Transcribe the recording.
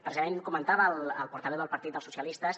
precisament comentava el portaveu del partit socialistes